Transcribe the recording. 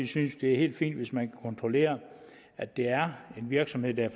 synes det er helt fint hvis man kontrollere at det er en virksomhed der